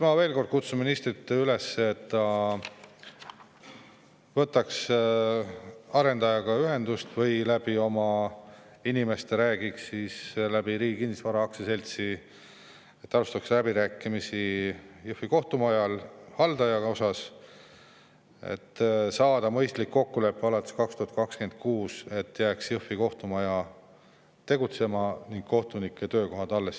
Ma veel kord kutsun ministrit üles, et ta võtaks oma inimeste abil arendajaga ühendust ja räägiks läbi, et Riigi Kinnisvara Aktsiaselts alustaks läbirääkimisi Jõhvi kohtumaja haldajaga, et saada mõistlik kokkulepe alates 2026, et Jõhvi kohtumaja jääks tegutsema ning kohtunike töökohad alles.